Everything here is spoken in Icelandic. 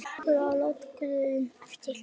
skulum við láta guðunum eftir.